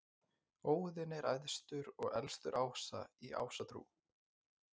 óðinn er æðstur og elstur ása í ásatrú